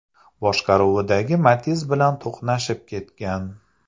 boshqaruvidagi Matiz bilan to‘qnashib ketgan.